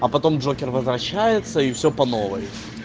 а потом джокер возвращается и всё по новой